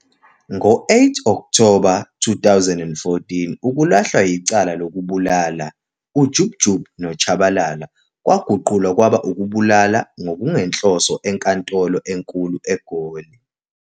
Ngo-8 Okthoba 2014 ukulahlwa yicala lokubulala uJub Jub noTshabalala kwaguqulwa kwaba ukubulala ngokungenhloso enkantolo enkulu eGoli.